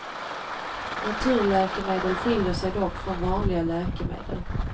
Naturläkemedel skiljer sig dock från vanliga läkemedel.